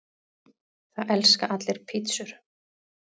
Það elska allir pizzur!